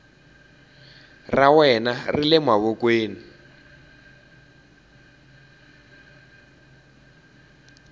ra wena ri le mavokweni